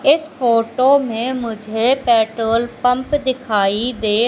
इस फोटो में मुझे पेट्रोल पंप दिखाई दे--